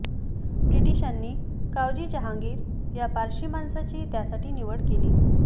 ब्रिटिशांनी कावजी जहांगीर या पारशी माणसाची त्यासाठी निवड केली